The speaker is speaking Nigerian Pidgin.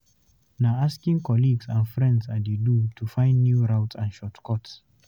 Na asking colleagues and friends I dey do to find new routes and shortcuts.